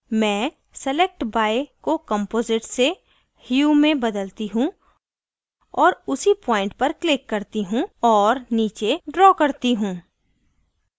मैं select by को composite से hue में बदलती hue और उसी point पर click करती hue और नीचे draw करती hue